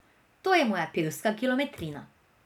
To je moja pevska kilometrina.